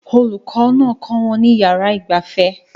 Olùkọ́ náà kọ́ wọn ní yàrá ìgbafẹ́